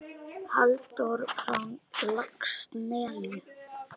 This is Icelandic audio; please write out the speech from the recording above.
Halldór frá Laxnesi?